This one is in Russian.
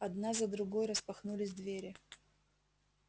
одна за другой распахнулись двери